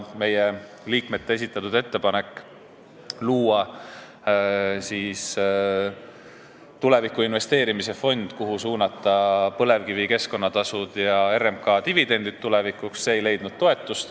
Meie liikmete esitatud ettepanek luua tulevikku investeerimise fond, kuhu võiks tuleviku tarbeks suunata põlevkivi keskkonnatasud ja RMK dividendid, ei leidnud toetust.